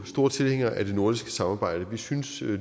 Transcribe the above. store tilhængere af det nordiske samarbejde vi synes